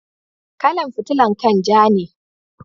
Kala'n fitilan kai'n ja ne.